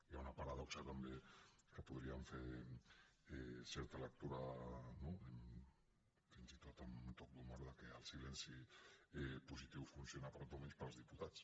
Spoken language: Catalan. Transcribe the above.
hi ha una paradoxa també que en podríem fer certa lectura fins i tot amb toc d’humor que el silenci positiu funciona per a tothom menys per als diputats